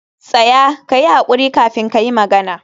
tsaya! kayi hakuri kafin kayi magana.